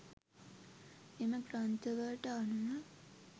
එම ග්‍රන්ථවලට අනුව